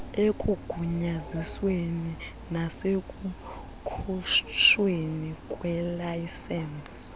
ekugunyazisweni nasekukhutshweni kweelayisensi